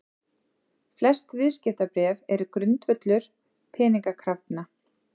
Flest viðskiptabréf eru grundvöllur peningakrafna.